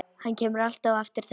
Hann kemur alltaf á eftir þeim.